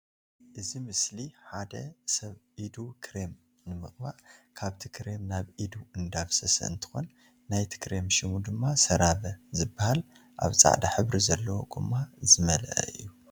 እዚ ምስሊ ሓደ ሰብ ኢዱ ክሬም ንምቅባእ ካብቲ ክራም ናብ ኢዱ እንዳፍሰሰ እንትኮን ናይቲ ክሬም ሹም ድማ ሰራቨ ዝበሃል አብ ፃዕዳ ሕብሪ ዘለዎ ጎማ ዝመልአ እዩ።